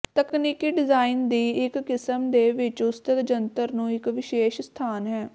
ਤਕਨੀਕੀ ਡਿਜ਼ਾਈਨ ਦੀ ਇੱਕ ਕਿਸਮ ਦੇ ਵਿੱਚ ਉਸਤਤਿ ਜੰਤਰ ਨੂੰ ਇੱਕ ਵਿਸ਼ੇਸ਼ ਸਥਾਨ ਹੈ